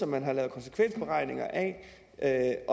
man har lavet konsekvensberegninger af